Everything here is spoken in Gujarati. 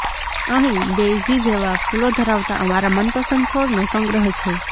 અહીં ડેઇઝી જેવા ફૂલો ધરાવતા અમારા મનપસંદ છોડનો સંગ્રહ છે